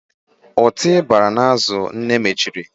Ọtị banyere n'azụ nne mechiri.